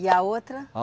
E a outra? A